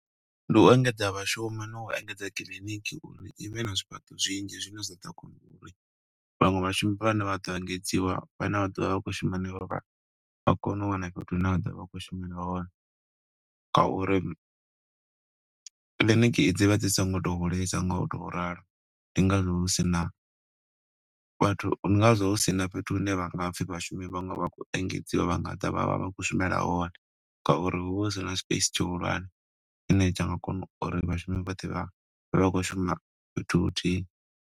Ndi u engedza vhashumi, no u engedza kiḽiniki uri ivhe na zwifhaṱo zwinzhi zwine zwa ḓo kona uri vhaṅwe vhashumi vhane vha ḓo engedziwa, vha ne vha ḓovha vha khou shuma henefha. Vha kone u wana fhethu hune vha ḓo vha khou shumela hone, nga uri kiḽiniki dzi vha dzi songo to hulesa ngo u to ralo. Ndi nga zwo hu sina vhathu, ndi ngazwo hu sina fhethu hune vha nga pfi vhashumi vhaṅwe vha khou engedziwa, vha nga ḓa vha vha vha khou shumela hone. Nga uri hu vha hu si na space tshihulwane, tshine tsha nga kona uri vhashumi vhoṱhe vha, vhe vha khou shuma fhethu huthihi.